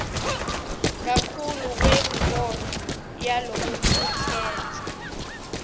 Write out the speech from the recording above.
kakhulu kwemibono yalokucuketfwe